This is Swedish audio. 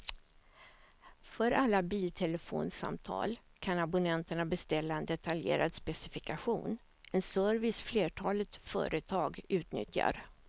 För alla biltelefonsamtal kan abonnenterna beställa en detaljerad specifikation, en service flertalet företag utnyttjar.